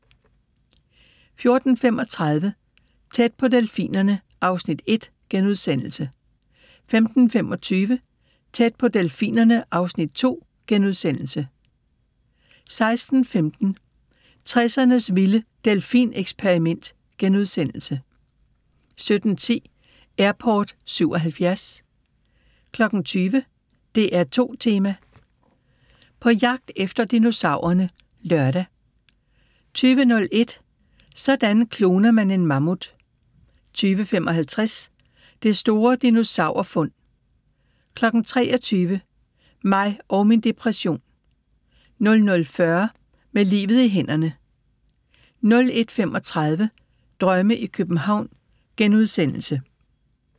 14:35: Tæt på delfinerne (Afs. 1)* 15:25: Tæt på delfinerne (Afs. 2)* 16:15: 60'ernes vilde delfineksperiment * 17:10: Airport '77 20:00: DR2 Tema: På jagt efter dinosaurerne (lør) 20:01: Sådan kloner man en mammut 20:55: Det store dinosaurfund 23:00: Mig og min depression 00:40: Med livet i hænderne 01:35: Drømme i København *